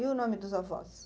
E o nome dos avós?